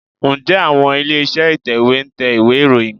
Ǹjẹ́ àwọn ilé-iṣẹ́ ìtẹ̀wé ń tẹ ìwé ìròyìn?